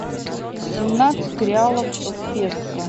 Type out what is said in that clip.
семнадцать реалов в песо